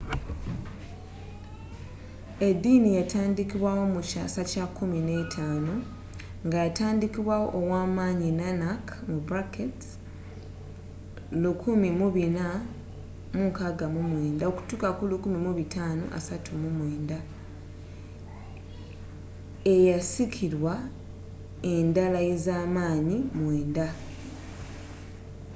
eddiini yatandikibwawo mu kyasa kya 15 nga kyatandikibwawo ow’amaanyi nanak 1469–1539. eyasikirwa endalaez’amaanyi mwenda